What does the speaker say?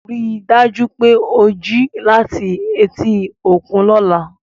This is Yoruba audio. Rí i dájú pé o jí láti etí òkun lọ́la